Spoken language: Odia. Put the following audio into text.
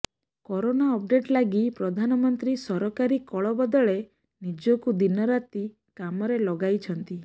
କରୋନା ଅପଡେଟ୍ ଲାଗି ପ୍ରଧାନମନ୍ତ୍ରୀ ସରକାରୀ କଳବଦଳେ ନିଜକୁ ଦିନରାତି କାମରେ ଲଗାଇଛନ୍ତି